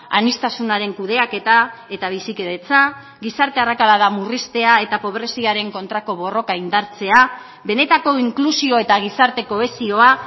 aniztasunaren kudeaketa eta bizikidetza gizarte arrakalada murriztea eta pobreziaren kontrako borroka indartzea benetako inklusio eta gizarte kohesioa